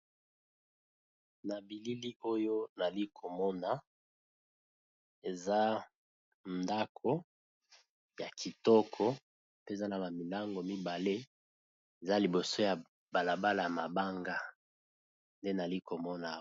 na bilili oyo nali komona eza ndako ya kitoko pe eza na bamilango mibale eza liboso ya balabala ya mabanga nde nali komona